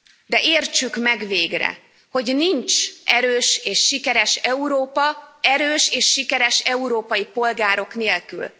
De értsük meg végre, hogy nincs erős és sikeres Európa, erős és sikeres európai polgárok nélkül.